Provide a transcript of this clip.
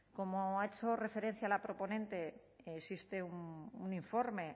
como ha hecho referencia la proponente existe un informe